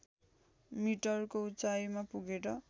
मिटरको उचाइमा पुगेर